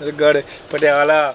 Mahendragarh, Patiala,